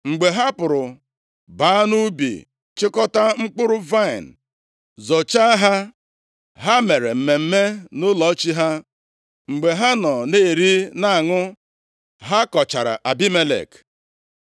Mgbe ha pụrụ baa nʼubi, chịkọta mkpụrụ vaịnị, zọchaa ha, ha mere mmemme nʼụlọ chi ha. Mgbe ha nọ na-eri na-aṅụ, ha kọchara Abimelek.